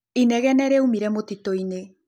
Ĩnegene rĩaũmĩre mũtĩtũĩnĩ.